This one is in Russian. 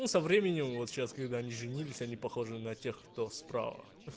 ну со временем вот сейчас когда они женились они похожи на тех кто справа